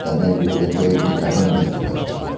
দোকানের ভিতরে কয়েকটি কাটুন দেখতে পাচ্ছি।